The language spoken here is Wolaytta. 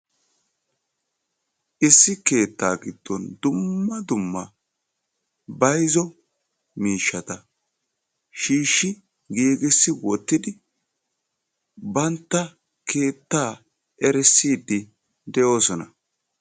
issi aaho keetta giddoni dumma dumma bayziyo mishshati issiboli doorestidi beettosona.